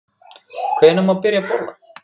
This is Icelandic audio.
Hvenær má byrja að borða?